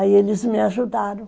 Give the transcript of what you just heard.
Aí eles me ajudaram.